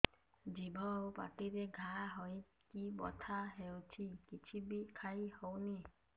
ଜିଭ ଆଉ ପାଟିରେ ଘା ହେଇକି ବଥା ହେଉଛି କିଛି ବି ଖାଇହଉନି